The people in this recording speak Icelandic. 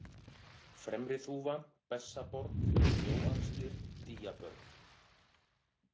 Fremriþúfa, Bessaborg, Snjóaxlir, Dýjabörð